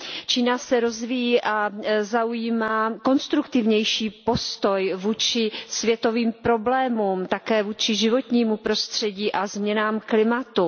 Čína se rozvíjí a zaujímá konstruktivnější postoj vůči světovým problémům, také vůči životnímu prostředí a změnám klimatu.